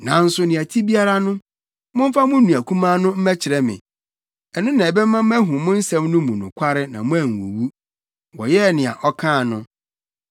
Nanso nea ɛte biara no, momfa mo nua kumaa no mmɛkyerɛ me. Ɛno na ɛbɛma mahu mo nsɛm no mu nokware na moanwuwu.” Wɔyɛɛ nea ɔkaa no.